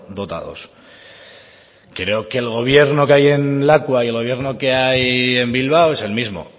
dotados creo que el gobierno que hay en lakua y el gobierno que hay en bilbao es el mismo